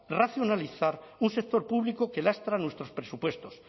racionalizar un sector público que lastra nuestros presupuestos